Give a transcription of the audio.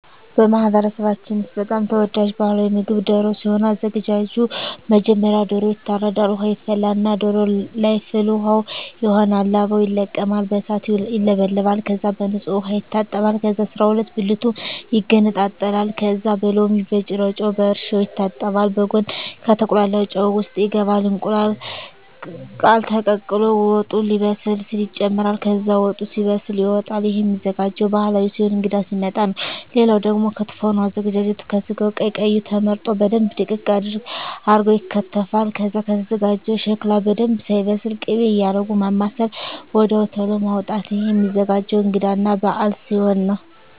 በማህበረሰባችን ውስጥ በጣም ተወዳጅ ባህላዊ ምግብ ደሮ ሲሆን አዘጋጁ መጀመሪያ ዶሮዎ ይታረዳል ውሃ ይፈላና ዶሮዎ ለይ ፍል ውሃው ይሆናል ላባው ይለቀማል በእሳት ይውለበለባል ከዛ በንጹህ ዉሃ ይታጠባል ከዛ አስራሁለት ብልቱ ይገነጣጠላል ከዛ በሎሚ በጭረጮ በእርሾ ይታጠባል በጉን ከተቁላላው ጨው ውሰጥ ይገባል እንቁላል ቃለ ተቀቅሎ ወጡ ሌበስል ሲል ይጨምራል ከዛ ወጡ ሲበስል ይወጣል እሄም ሚዘጋጀው ባህል ሲሆን እንግዳ ሲመጣ ነው ሌላው ደግሞ ክትፎ ነው አዘገጃጀቱ ከስጋው ቀይ ቀዩ ተመርጠው በደንብ ድቅቅ አርገው ይከተፋል ከዛ ከተዘጋጀው ሸክላ በደንብ ሳይበስል ክቤ እያረጉ ማማሰል ወድያው ተሎ ማዉጣት እሄም ሚዘገጀው እንግዳ እና በአል ሲሆን ነው